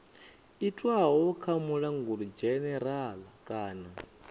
itwaho kha mulanguli dzhenerala kana